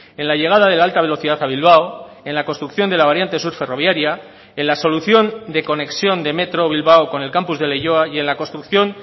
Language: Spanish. en la llegada de la alta velocidad a bilbao en la construcción de la variante sur ferroviaria en la solución de conexión de metro bilbao con el campus de leioa y en la construcción